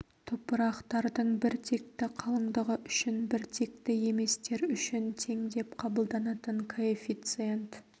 топырақтардың біртекті қалыңдығы үшін біртекті еместер үшін тең деп қабылданатын коэффициент